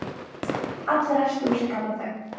Allir ræsktu úr sér gamla þögn.